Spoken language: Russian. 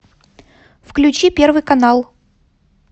включи первый канал